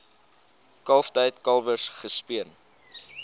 kalftyd kalwers gespeen